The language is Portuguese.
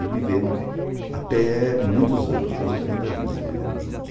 E viveram até muitos anos, quase oitenta anos vivendo juntos.